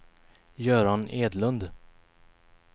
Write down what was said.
Göran Edlund